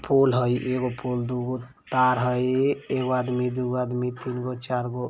फूल है एगो फूल दुगो-तार हय एगो आदमी दुगो आदमी तीन गो चार गो--